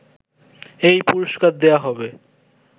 এই পুরস্কার দেয়া হবে